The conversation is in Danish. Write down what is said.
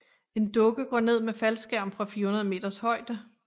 En dukke går ned med faldskærm fra 400 meters højde